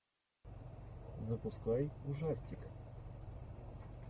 запускай ужастик